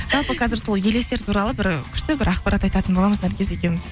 жалпы қазір сол елестер туралы бір күшті бір ақпарат айтатын боламыз наргиз екеуіміз